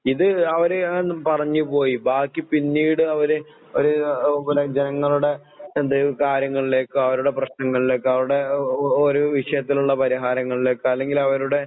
ഇത് അവര് ആന്ന് പറഞ്ഞ് പോയി. ബാക്കി പിന്നീടവര് ഒരു ഓഹ് പിന്നെ ജനങ്ങള്ടെ എന്തെങ്കിലും കാര്യങ്ങളിലേക്കും, അവരുടെ പ്രശ്നങ്ങളിലേക്കും, അവരുടെ ഒ ഒ ഒരോ വിഷയത്തിലൊള്ള പരിഹാരങ്ങളിലേക്ക് അല്ലെങ്കിലവരുടെ